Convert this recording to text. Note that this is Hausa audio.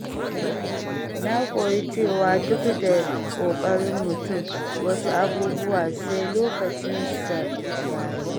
Na koyi cewa duk da ƙoƙarin mutum, wasu abubuwa sai lokacin su ya yi.